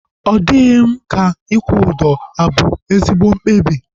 Ọ dịghị m ka ịkwụ ụdọ abu ezigbo mkpebi